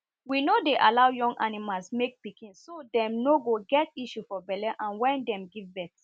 we no dey aloud young animals make pikinso dem no go get issues for belle and wen dem give birth